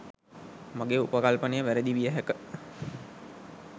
මගේ උපකල්පනය වැරදි විය හැක